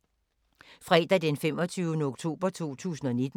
Fredag d. 25. oktober 2019